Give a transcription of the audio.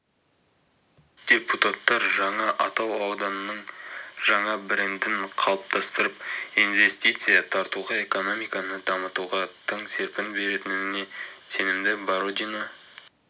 депутаттар жаңа атау ауданның жаңа брендін қалыптастырып инвестиция тартуға экономиканы дамытуға тың серпін беретініне сенімді бородино